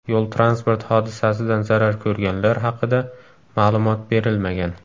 Yo‘l-transport hodisasidan zarar ko‘rganlar haqida ma’lumot berilmagan.